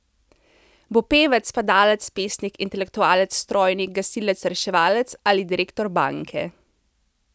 Bo pevec, padalec, pesnik, intelektualec, strojnik, gasilec, reševalec ali direktor banke?